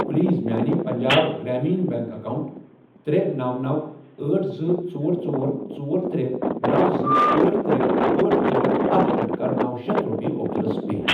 please میانہِ Punjab Gramin bank account ترے، نوَ، نوَ، أٹھ، زٕ، ژور، ژور، ژور، ترے، نوَ، زٕ، أٹھ، ترے، أٹھ، ژور، اکھ پٮ۪ٹھٕ کَر نوَ شیتھ رۄپیہِ عبدُلس پے